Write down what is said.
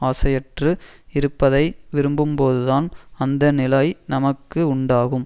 ஆசையற்று இருப்பதை விரும்பும்போதுதான் அந்த நிலை நமக்கு உண்டாகும்